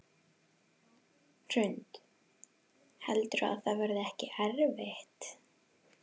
Hrund: Heldurðu að það verði ekkert erfitt?